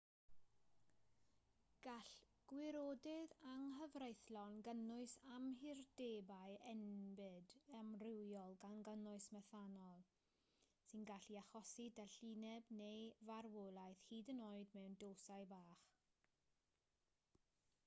gall gwirodydd anghyfreithlon gynnwys amhurdebau enbyd amrywiol gan gynnwys methanol sy'n gallu achosi dallineb neu farwolaeth hyd yn oed mewn dosau bach